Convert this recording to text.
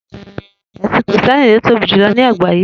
È̩sìn Krìsté̩nì ni ó tóbi jùlo̩ ní àgbáyé